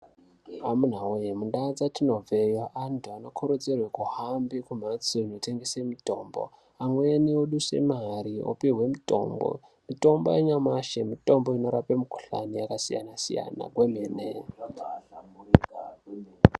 Amunaa wee mundau dzatinobve antu anokurudzirwe kuhambe kumhatso dzinotengese mitombo amweni oduse mare opihwe mitombo mitombo yanyamashi mitombo inorape mikhuhlani yakasiyana siyana kwemene.